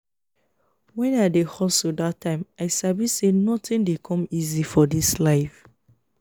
when i dey hustle dat time i sabi say nothing dey come easy for this life